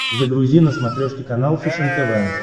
загрузи на смотрешке канал фэшен тв